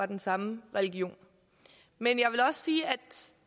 den samme religion men jeg vil også sige at